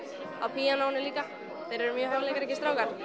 píanóinu líka þeir eru mjög hæfileikaríkir strákar